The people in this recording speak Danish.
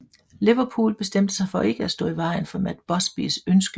Liverpool bestemte sig for ikke stå i vejen for Matt Busbys ønske